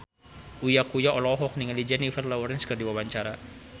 Uya Kuya olohok ningali Jennifer Lawrence keur diwawancara